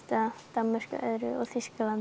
Danmörk og Þýskaland